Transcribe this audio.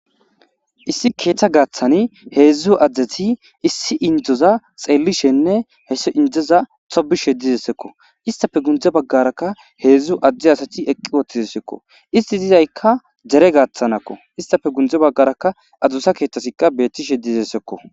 Issi keeththa gaaththani heedzdzu adzdeti issi indzoza xeellishenne heso indzoza tobishe dizessekko istafe gundze baggarakka heedzdzu adde asati eqqi wottidessekko isti dizaykka dere gaaththanakko istafe gundze baggarakka adusa keeththasikka beettishe diessekko.